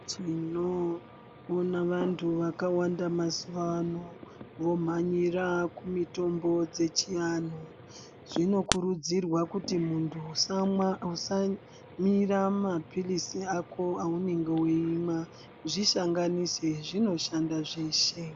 Tinoona vantu vakawanda mazuva ano vomhanyira kumutombo dzechiantu. Zvinokurudzirwa kuti muntu usamwa usamisa maphirizi ako aunenge uimwa zvisanganise zvino shanda zveshe.